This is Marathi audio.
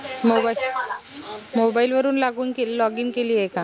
mobile वरून लागून केली login केली आहे का?